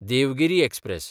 Devgiri express